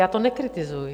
Já to nekritizuji...